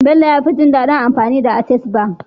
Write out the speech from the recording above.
Bello yafi jin dadin amfani da access bank